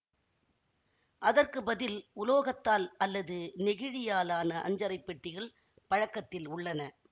அதற்கு பதில் உலோகத்தால் அல்லது நெகிழியாலான அஞ்சறை பெட்டிகள் பழக்கத்தில் உள்ளன